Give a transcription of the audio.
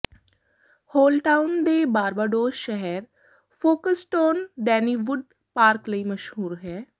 Holetown ਦੇ Barbados ਸ਼ਹਿਰ Folkestone ਡੈਨੀਵੁੱਡ ਪਾਰਕ ਲਈ ਮਸ਼ਹੂਰ ਹੈ